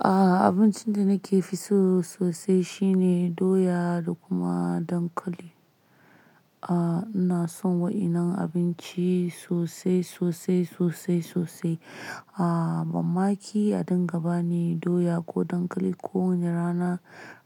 Abincin da nake fi so sosai shine doya da kuma dankali. Aaa, ina son waƴannan abinci sosai, sosai, sosai, sosai. Aaa, mamaki a dinga bani doya ko dankali kowane rana,